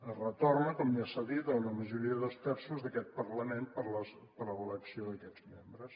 es retorna com ja s’ha dit a una majoria de dos terços d’aquest parlament per a l’elecció d’aquests membres